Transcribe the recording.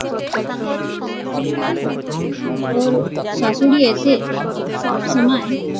ওর শাশুড়ি এসে সব সময়